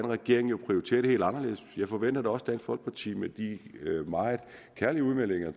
regeringen prioriterer det jo helt anderledes og jeg forventer da også at dansk folkeparti med de meget kærlige udmeldinger